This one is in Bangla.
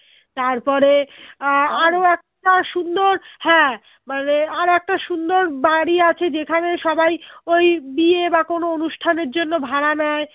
তারপরে আহ একটা সুন্দর হ্যাঁ মানে আর একটা সুন্দর বাড়ি আছে যেখানে সবাই ওই বিয়ে বা কোনো অনুষ্ঠানের জন্য ভাড়া নেয়